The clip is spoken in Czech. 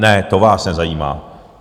Ne, to vás nezajímá.